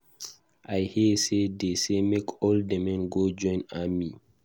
I hear say dey say make all the men go join army.